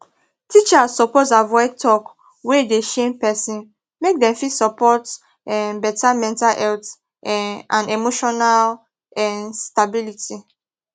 teachers suppose avoid talk wey dey shame person make dem fit support um better mental health um and emotional um stability